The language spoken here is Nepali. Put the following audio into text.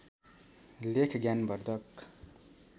लेख ज्ञान वर्धक